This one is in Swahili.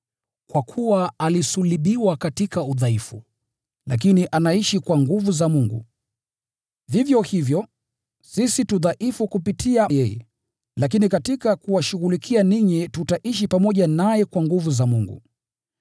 Kwa kuwa alisulubiwa katika udhaifu, lakini anaishi kwa nguvu za Mungu. Vivyo hivyo, sisi tu dhaifu kupitia kwake, lakini katika kuwashughulikia ninyi tutaishi pamoja naye kwa nguvu za Mungu.